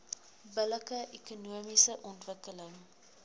billike ekonomiese ontwikkeling